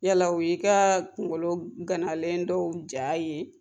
Yala o y'i ka kungolo ganalen dɔw jaa ye?